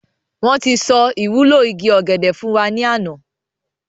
Wọn tí sọ ìwúlò igi ọ̀gẹ̀dẹ̀ fún wa ní àná.